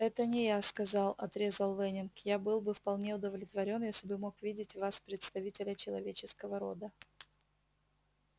это не я сказал отрезал лэннинг я был бы вполне удовлетворён если бы мог видеть в вас представителя человеческого рода